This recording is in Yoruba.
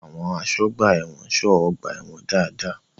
Ṣé àwọn àsọ́gbà ẹ̀wọ̀n ń ṣọ́ ọgbà-ẹ̀wọ̀n dáadáa?